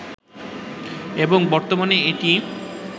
এবং বর্তমানে এটিই